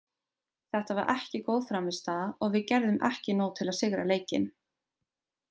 Þetta var ekki góð frammistaða og við gerðum ekki nóg til að sigra leikinn.